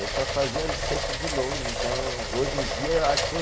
Eu só fazia cesta de longe, então hoje em dia eu acho que eu